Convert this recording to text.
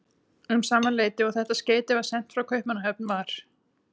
Um sama leyti og þetta skeyti var sent frá Kaupmannahöfn, var